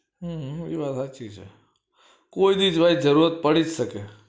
હમ એ વાત હાચી છે કોઈ દી ભાઈ જરૂરત પડી જ સકે